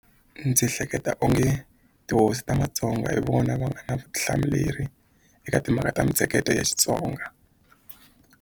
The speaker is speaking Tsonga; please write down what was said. Ndzi hleketa onge tihosi ta matsonga hi vona va nga na vutihlamuleri eka timhaka ta mintsheketo ya Xitsonga.